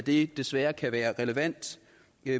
det desværre kan være relevant